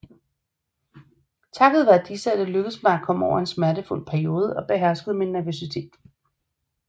Takket være disse er det lykkedes mig at komme over en smertefuld periode og beherske min nervøsitet